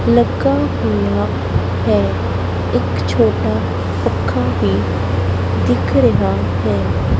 ਲੱਗਾ ਹੋਇਆ ਹੈ ਇੱਕ ਛੋਟਾ ਪੱਖਾ ਵੀ ਦਿਖ ਰਿਹਾ ਹੈ।